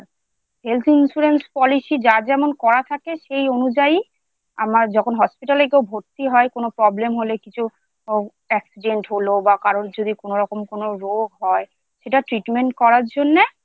Health insurance Policy যার যেমন করা থাকে সেই অনুযায়ী আমার যখন hospital ভর্তি হয় কোন Problem হলে কিছু Accident হল বা কারোর যদি কোনোরকম কোনও রোগ হয় সেটা treatment করার জন্যে।